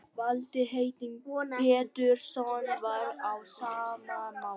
Valtýr heitinn Pétursson var á sama máli.